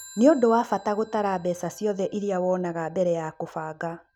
Nĩ ũndũ wa bata gũtara mbeca ciothe iria wonaga mbere ya kũbanga.